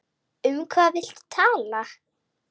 Um hvað viltu tala?